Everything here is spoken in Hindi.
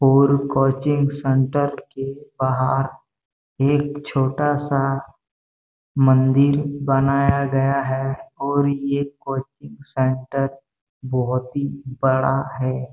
और कोचिंग सेंटर के बाहर एक छोटा-सा मंदिर बनाया गया है और ये कोचिंग सेंटर बहोत ही बड़ा है।